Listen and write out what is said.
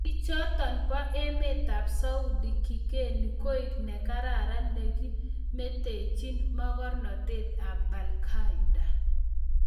Chichoton bo emetab Saudi kigeni koik ne kararan ne kimetechin mogornatet ab Baghdadi.